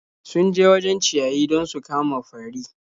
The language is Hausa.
Sun je wajen ciyayi don su kama fari.